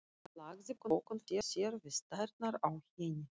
Lagði pokann frá sér við tærnar á henni.